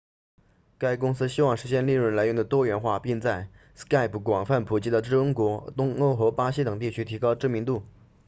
该公司希望实现利润来源的多元化并在 skype 广泛普及的中国东欧和巴西等地区提高知名度